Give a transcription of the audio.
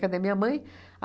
Cadê minha mãe?